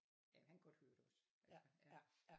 Jamen han kan godt høre det også altså ja